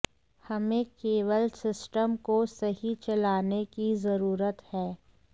हमें केवल सिस्टम को सही चलाने की जरूरत है